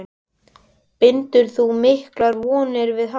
Bindur þú miklar vonir við hann?